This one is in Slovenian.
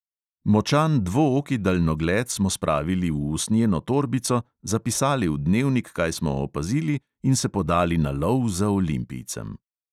Močan dvooki daljnogled smo spravili v usnjeno torbico, zapisali v dnevnik, kaj smo opazili, in se podali na lov za olimpijcem.